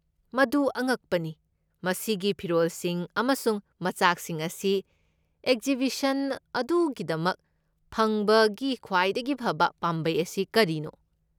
ꯃꯗꯨ ꯑꯉꯛꯄꯅꯤ꯫ ꯃꯁꯤꯒꯤ ꯐꯤꯔꯣꯜꯁꯤꯡ ꯑꯃꯁꯨꯡ ꯃꯆꯥꯛꯁꯤꯡ ꯑꯁꯤ ꯑꯦꯛꯖꯤꯕꯤꯁꯟ ꯑꯗꯨꯒꯤꯗꯃꯛ ꯐꯪꯕꯒꯤ ꯈ꯭ꯋꯥꯏꯗꯒꯤ ꯐꯕ ꯄꯥꯝꯕꯩ ꯑꯁꯤ ꯀꯔꯤꯅꯣ?